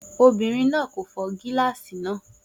Obìnrin náà kò fọ́ gíláàsì náà